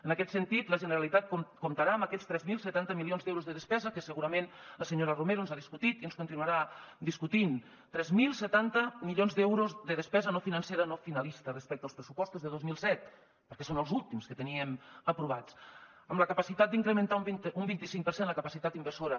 en aquest sentit la generalitat comptarà amb aquests tres mil setanta milions d’euros de despesa que segurament la senyora romero ens ha discutit i ens continuarà discutint tres mil setanta milions d’euros de despesa no financera no finalista respecte als pressupostos de dos mil disset perquè són els últims que teníem aprovats amb la capacitat d’incrementar un vint cinc per cent la capacitat inversora